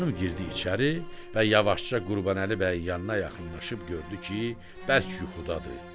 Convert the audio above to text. Xanım girdi içəri və yavaşca Qurbanəli bəyin yanına yaxınlaşıb gördü ki, bərk yuxudadır.